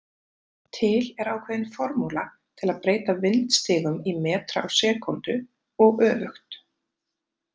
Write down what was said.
Til er ákveðin formúla til að breyta vindstigum í metra á sekúndu og öfugt.